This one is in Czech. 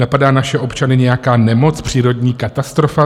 Napadá naše občany nějaká nemoc, přírodní katastrofa?